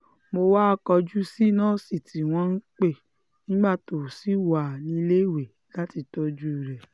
mo wáá kọjú sí nọ́ọ̀sì tí wọ́n pè nígbà tó ṣì wà níléèwé láti tọ́jú rẹ̀